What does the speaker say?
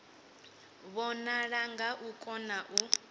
vhonala nga u kona u